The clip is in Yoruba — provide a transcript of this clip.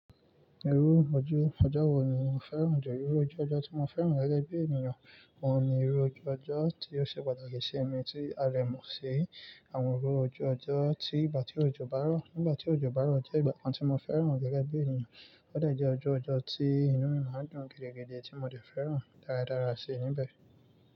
Irú ojú ọjọ́ wo ni o fẹ́ràn jù? Irú ojú ọjọ́ tí mo fẹ́ràn gege bi ènìyàn, òun ni irú ojú ọjọ́ tí ó ṣe pàtàkì sí mi tí a lè mọ̀ sí i, àwọn irú ojú ọjọ́ tí ìgbà tí òjò bá rọ̀. Nígbà tí òjò bá rọ̀ jẹ́ ìgbà kan tí mo fẹ́ràn lẹ́gbẹ̀ẹ́ ènìyàn, ó de jẹ́ ojú ọjọ́ tí inú mi máa dùn gidigidi tí mo dẹ̀ fẹ́ràn dáradára sí i níbẹ̀.